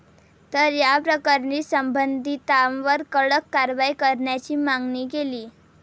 तर याप्रकरणी संबंधितांवर कडक कारवाई करण्याची मागणी केली.